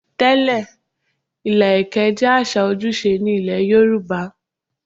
Tẹ́lẹ̀, ilà ẹ̀kẹ́ jẹ́ àṣà ojúṣe ní ilé Yorùbá.